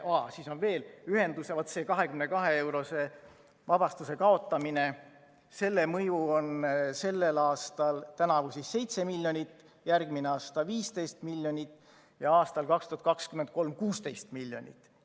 Aa, siis on veel, vaat selle 22‑eurose vabastuse kaotamise mõju on sellel aastal, tänavu 7 miljonit, järgmine aasta 15 miljonit ja 2023. aastal 16 miljonit.